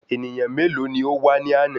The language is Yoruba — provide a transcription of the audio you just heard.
Ènìyàn mélòó ní o wá ní àná?